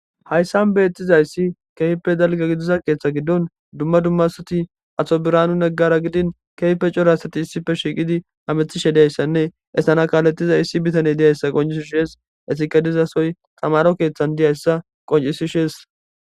Hayssan beettizayssi keehippe dalgga gidiza keeththa giddon dumma dumma asati ato biraanu neggara gidin keehippe cora asati issife shiiqidi hamethishe dizayssanne estana kaaletiza issi bitaney diyayssa qoncisi shees esike dizasoy tamaro keeththan diyayssa qoncisishees.